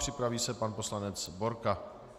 Připraví se pan poslanec Borka.